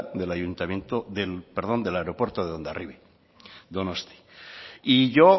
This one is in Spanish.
del aeropuerto de hondarribia donostia y yo